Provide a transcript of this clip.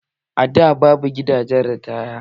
A da babu gidahen ritaya